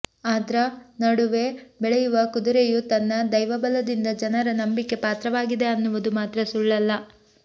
ಅದ್ರ ನಡುವೆ ಬೆಳೆಯುವ ಕುದುರೆಯೂ ತನ್ನ ದೈವಬಲದಿಂದ ಜನರ ನಂಬಿಕೆ ಪಾತ್ರವಾಗಿದೆ ಅನ್ನುವುದು ಮಾತ್ರ ಸುಳ್ಳಲ್ಲ